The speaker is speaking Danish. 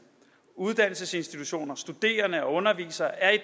uddannelsesinstitutioner studerende og undervisere er i